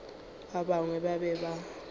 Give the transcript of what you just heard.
ba gagwe ba be ba